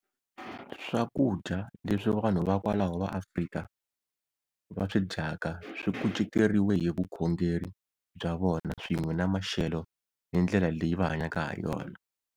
Swakudya leswi vanhu va kwalaho va Afrika va swi dyaka swi kuceteriwe hi vukhongeri bya vona swin'we ni maxelo ni ndlela leyi va hanyaka ha yona.